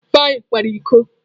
Ifeanyi kwara iko.